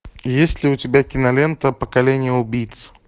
есть ли у тебя кинолента поколение убийц